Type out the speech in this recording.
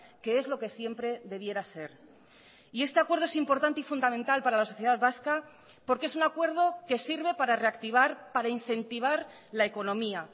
que es lo que siempre debiera ser y este acuerdo es importante y fundamental para la sociedad vasca porque es un acuerdo que sirve para reactivar para incentivar la economía